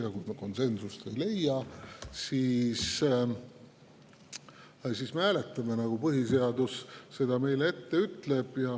Ja kui me konsensust ei leia, siis me hääletame, nagu põhiseadus meile ette ütleb.